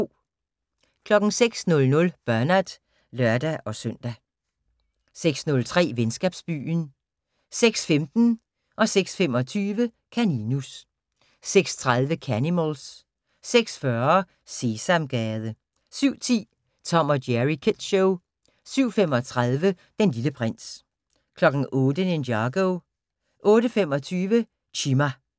06:00: Bernard (lør-søn) 06:03: Venskabsbyen 06:15: Kaninus 06:25: Kaninus 06:30: Canimals 06:40: Sesamgade 07:10: Tom & Jerry Kids Show 07:35: Den Lille Prins 08:00: Ninjago 08:25: Chima